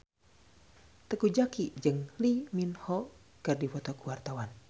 Teuku Zacky jeung Lee Min Ho keur dipoto ku wartawan